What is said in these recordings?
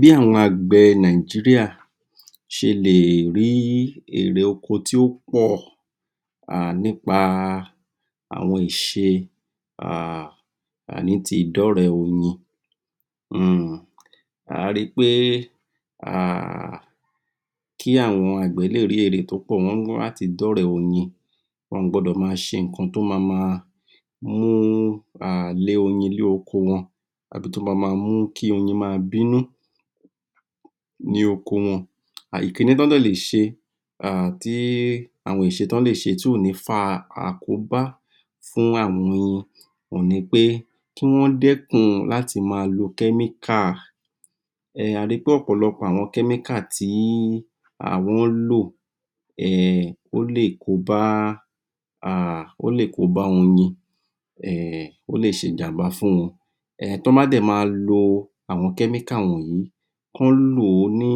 Bí àwọn àgbẹ̀ Nigeria ṣe lè è rí í èrè oko tí ó pọ̀, um nípa àwọn ìṣe um ní ti ìdọ́rẹ̀ẹ́ oyin. um A rí í pé, um kí àwọn àgbẹ̀ to rí èrè tó pọ̀, wọ́n ní láti d`ọ́rẹ̀ẹ́ oyin. Wọ́n ò gbọ́dọ̀ ma ṣe ǹkan tó ma ma um lé oyin ní oko wọn, tàbí tó ma máa mú oyin bínú, ní oko wọn. Ìkíní t'ọ́n dẹ̀ lè ṣe. um àwọn ìṣe t'ọ́n lè ṣe tí kò ní fa àkóbá fún àwọn oyin òun ni pé kí wọ́n dẹ́kun láti máa lo chemical. A rí pé ọ̀pọ̀lọpọ̀ àwọn chemical tí wọ́n lò, um ó lè kóbá um ó lè kóbá oyin. um Ó lè ṣe ìjàmbá fún wọn. T’ón bá dẹ̀, máa lo àwọn chemical wọ̀nyí, kán lò ní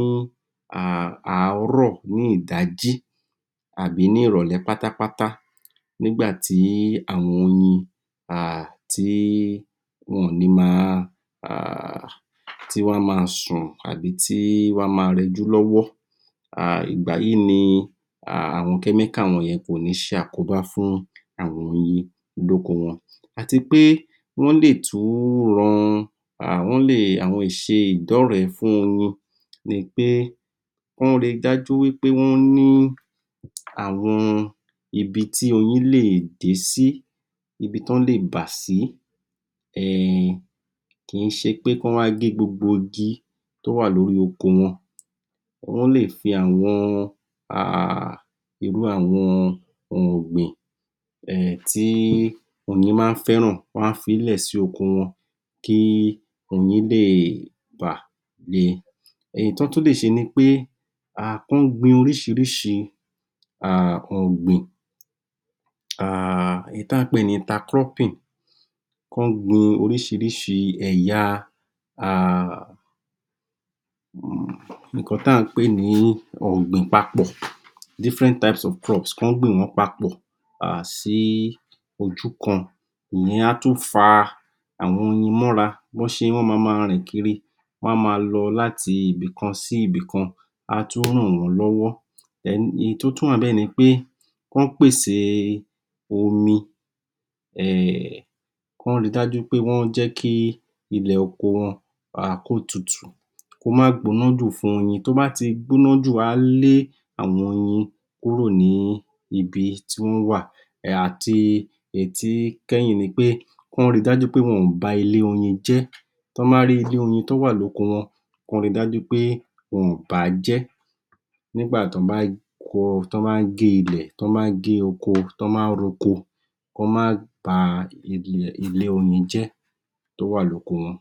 àárọ̀, ní ìdájí, tàbí ní ìròlẹ́ pátápátá, nígbàtí àwọn oyin um tí wọn ò ní máa, um tí wọn á máa sùn, tàbí tí wọ́n á máa rẹjú lọ́wọ́. Ìgbàyí ni àwọn chemical wọ̀nyẹn kò ní ṣe àkóbá fún àwọn oyin lóko wọn. À ti pé wọ́n lè tún ran, wọ́n lè àwọn ìṣe ìdọ́rẹ̀ẹ́ fún oyin, nípé wọ́n rá dájú ní pé wọ́n ri dájú wípé wọ́n ní àwọn ibití oyin lè dé sí, ibití t’ón lè ba sí. Kìí ṣe pé k'ọ́n wá gé gbogbo igi tó wà lórí oko wọn. Wọ́n lè fi àwọn ọ̀gbìn tí oyin ma ń fẹ́ràn, wọ́n á fií lẹ̀ sí oko wọn kí oyin lè bà le. Èyí t’ọ́n tún lè ṣe ni pé kí wọ́n gbin oríìíríṣìí um ọ̀gbìn, èyí tí à ń pè ní inter-cropping. K’ọ́n gbin oríṣìíríṣìí ẹ̀ya,[um] ǹkan t’àń pè ní ọ̀gbìn papọ̀ (different types of crops) K’ọ́n gbìn wọ́n papọ̀ sí ojú kan. Ìyẹn á tún fa àwọn oyin m’ọ́ra. wọ́n ma ma rìn kiri, wọ́n á máa lọ láti ibìkan sí ibìkan, á tún ràn wọ́n lọ́wọ́. Then Èyí tó tún wà nipé k’ọ́n pèsè omi um k’ọ́n rí dájú pé wọ́n jẹ́ kí ilẹ̀ oko wọn kó tutù. Kó má gbóná jù fún oyin. Tó bá ti gbóná jù, á lé àwọn oyin kúrò ní ibi tí wọ́n wà. Àti èyí tí kẹ́yìn nipé, k’ọ́n ri dájú pé wọn ò ba ilé oyin jẹ́. T’ọ́n bá rí ilé oyin tó wà ní oko wọn, k’ọ́n ri dájú pé wọn ò bàájẹ́ Nígbà t’ọ́n bá ń gé ilẹ̀, t’ọ́n bá ń gé oko, t’ọ́n bá ń ro oko, k’ọ́n má ba ilé oyin jẹ́, tó wà lóko wọn.